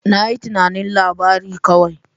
Na yi tunanin labari kawai.